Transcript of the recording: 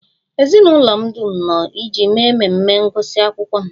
Ezinụlọ m dum nọ iji mee mmemme ngụsị akwụkwọ m